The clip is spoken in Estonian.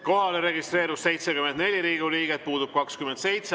Kohalolijaks registreerus 74 Riigikogu liiget, puudub 27.